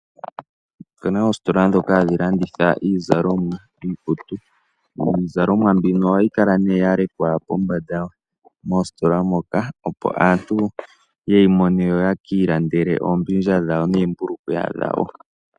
Opena oositola ndhoka hadhi landitha iizalomwa. Iizalomwa mbino ohayi kala nee ya lekwa pombanda moositola moka opo aantu yeyi mone yo ye ki ilandele oombindja dhawo neembulukweya dhawo.